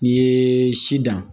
N'i ye si dan